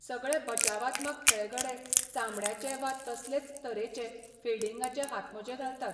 सगळे बचावात्मक खेळगडे चामड्याचे वा तसलेच तरेचे फिल्डिंगाचे हातमोजे घालतात.